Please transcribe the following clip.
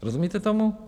Rozumíte tomu?